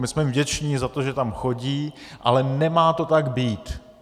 My jsme vděční za to, že tam chodí, ale nemá to tak být.